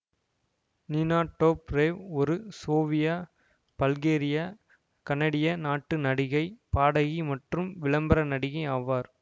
நீனா Dobrev ஒரு Sofia Bulgaria கனடிய நாட்டு நடிகை பாடகி மற்றும் விளம்பர நடிகை ஆவார்